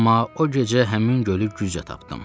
Amma o gecə həmin gölü güclə tapdım.